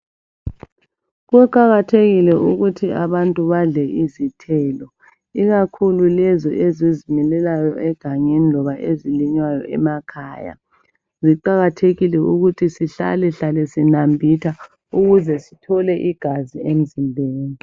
Kuqakathekile ukuthi abantu badle izithelo ikakhulu lezo ezizimilelayo egangeni loba ezilinywayo emakhaya , ziqakathekile ukuthi sihlalehlale sinambitha , ukuze sithole igazi emzimbeni